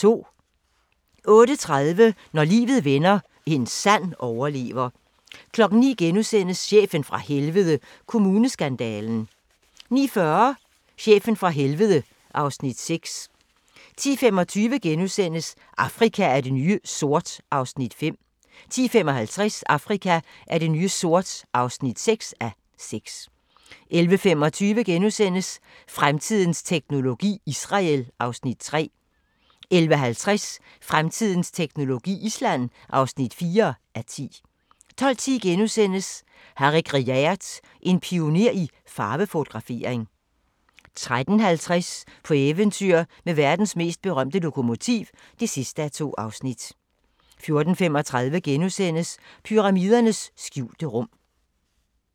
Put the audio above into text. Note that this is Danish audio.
08:30: Når livet vender – en sand overlever 09:00: Chefen fra Helvede – Kommuneskandalen * 09:40: Chefen fra helvede (Afs. 6) 10:25: Afrika er det nye sort (5:6)* 10:55: Afrika er det nye sort (6:6) 11:25: Fremtidens teknologi: Israel (3:10)* 11:50: Fremtidens teknologi: Island (4:10) 12:10: Harry Gruyaert: En pioner i farvefotografering * 13:50: På eventyr med verdens mest berømte lokomotiv (2:2) 14:35: Pyramidernes skjulte rum *